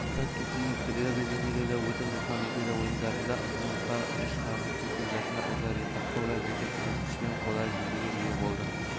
айта кетейік рио-де-жанейрода өтіп жатқан олимпиада ойындарында ұзындыққа үш қарғып секіру жарысында ольга рыпакова метр көрсеткішпен қола жүлдеге ие болды бұл